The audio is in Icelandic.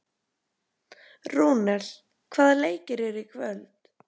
Rúnel, hvaða leikir eru í kvöld?